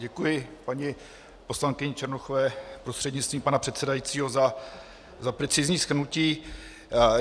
Děkuji paní poslankyni Černochové prostřednictvím pana předsedajícího za precizní shrnutí.